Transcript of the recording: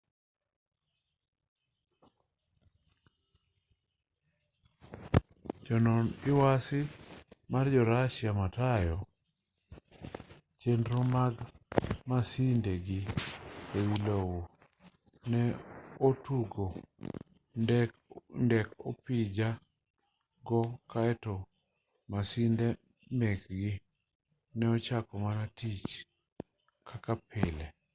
jonon lwasi ma jo russia matayo chenro mag maside gi e wi lowo ne otugo ndek opija go kaeto masinde mekgi ne ochako mana tich kaka pile